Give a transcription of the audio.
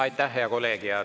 Aitäh, hea kolleeg!